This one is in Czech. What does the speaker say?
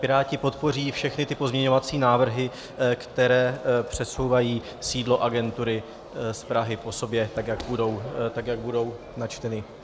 Piráti podpoří všechny ty pozměňovací návrhy, které přesouvají sídlo agentury z Prahy po sobě, tak jak budou načteny.